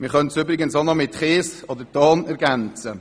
» Man könnte den Antrag auch noch mit Kies oder Ton ergänzen.